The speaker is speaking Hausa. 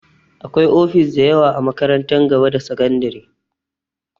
Akwai ofis dayawa a makarantar gaba da sakandare